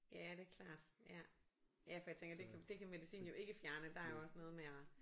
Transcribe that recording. Ja det klart ja. Ja for jeg tænker det kan det kan medicinen jo ikke fjerne der er jo også noget med og